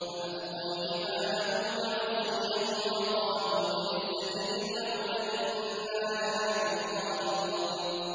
فَأَلْقَوْا حِبَالَهُمْ وَعِصِيَّهُمْ وَقَالُوا بِعِزَّةِ فِرْعَوْنَ إِنَّا لَنَحْنُ الْغَالِبُونَ